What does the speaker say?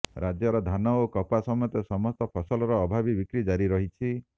ରାଜ୍ୟରେ ଧାନ ଓ କପା ସମେତ ସମସ୍ତ ଫସଲର ଅଭାବୀ ବିକ୍ରି ଜାରି ରହିଛି